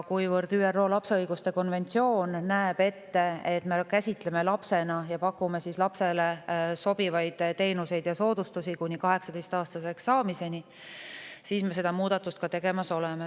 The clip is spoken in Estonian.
Kuivõrd ÜRO lapse õiguste konventsioon näeb ette, et me käsitleme lapsena ning pakume talle lapsele sobivaid teenuseid ja soodustusi kuni 18-aastaseks saamiseni, me seda muudatust tegemas oleme.